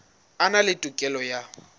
a na le tokelo ya